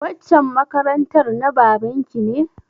Waccan makarantar na baban ki ne?